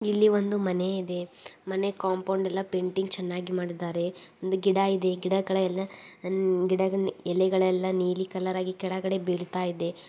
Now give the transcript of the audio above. ಇಲ್ಲಿ ಒಂದು ಮನೆ ಇದೆ ಮನೆ ಕಾಂಪೌಂಡ್ ಪೇಂಟಿಂಗ್ ಎಲ್ಲ ತುಂಬಾ ಚೆನ್ನಾಗಿ ಮಾಡಿದಾರೆ ಒಂದು ಗಿಡ ಇದೆ ಗಿಡಗಳ ಎಲೆಗಳೆಲ್ಲ ಎಲೆಗಳೆಲ್ಲ ನೀಲಿ ಕಲರ್ ಆಗಿ ಕೆಳಗಡೆ ಬೀಳತಾ ಇದೆ .